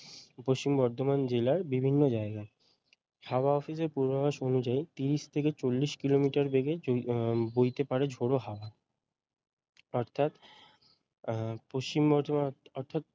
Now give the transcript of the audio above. পশ্চিম বর্ধমান জেলার বিভিন্ন জায়গায় হাওয়া office এর পূর্বাভাস অনুযায়ী তিরিশ থেকে চল্লিশ কিলোমিটার বেগে উম বইতে পারে ঝোড়ো হাওয়া অর্থাৎ পশ্চিম বর্ধমান অর্থাৎ